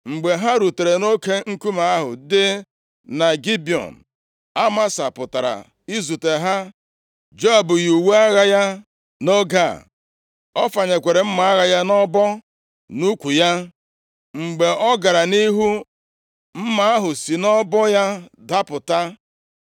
Mgbe ha rutere nʼoke nkume ahụ dị na Gibiọn, Amasa pụtara izute ha. Joab yi uwe agha ya nʼoge a; ọ fanyekwara mma agha ya nʼọbọ nʼukwu ya. Mgbe ọ gara nʼihu, mma ahụ si nʼọbọ ya dapụta.